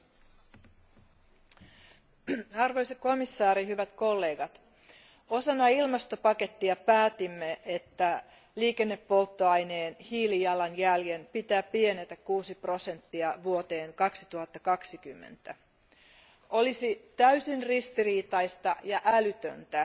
Arvoisa puhemies, arvoisa komissaari, arvoisat kollegat, osana ilmastopakettia päätimme, että liikennepolttoaineen hiilijalanjäljen pitää pienentyä kuusi prosenttia vuoteen 2020 mennessä. Olisi täysin ristiriitaista ja älytöntä,